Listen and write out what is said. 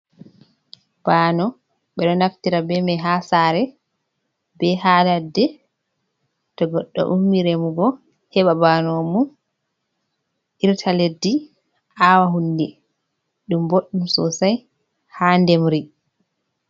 Bano ɓeɗo naftira be mai ha sare, be ha ladde, to goɗɗo ummi remugo heba banomum irta leddi, a'wa hunde. ɗum boɗɗum sosai ha ndemri.